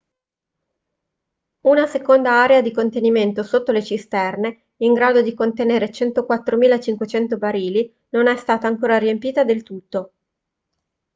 una seconda area di contenimento sotto le cisterne in grado di contenere 104.500 barili non è stata ancora riempita del tutto